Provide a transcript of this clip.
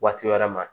Waati wɛrɛ ma